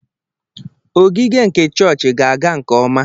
Ogige nke chọọchị ga-aga nke ọma.